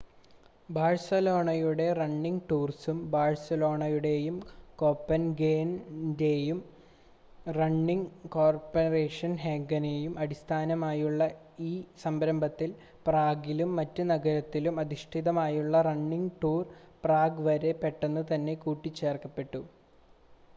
ബാഴ്‌സലോണയുടെ റണ്ണിങ് ടൂർസും ബാഴ്‌സലോണയുടെയും കോപ്പൻഹേഗൻ്റെയും റണ്ണിങ് കോപ്പൻഹേഗനും അടിസ്ഥാനമായി ഉള്ള ഈ സംരംഭത്തിൽ പ്രാഗിലും മറ്റ് നഗരങ്ങളിലും അധിഷ്ഠിതമായുള്ള റണ്ണിങ് ടൂർസ് പ്രാഗ് വളരെ പെട്ടന്ന് തന്നെ കൂട്ടി ചേർക്കപ്പെട്ടു